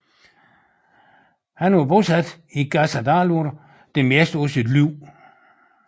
Han var bosat i Gásadalur det meste af sit liv